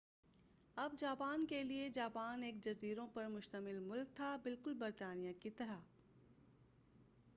اب جاپان کے لئے جاپان ایک جزیروں پر مُشتمل ملک تھا بالکل برطانیہ کی طرح